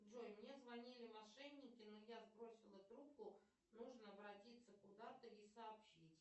джой мне звонили мошенники но я сбросила трубку нужно обратиться куда то и сообщить